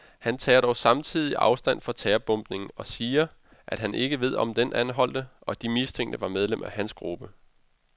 Han tager dog samtidig afstand for terrorbombningen og siger, at han ikke ved om den anholdte og de mistænkte var medlemmer af hans gruppe.